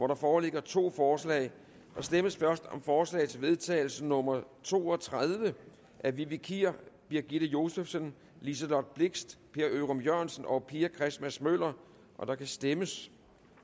der foreligger to forslag der stemmes først om forslag til vedtagelse nummer v to og tredive af vivi kier birgitte josefsen liselott blixt per ørum jørgensen og pia christmas møller og der kan stemmes